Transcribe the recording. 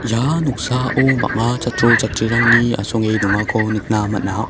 ia noksao bang·a chatro chatrirangni asonge dongako nikna man·a.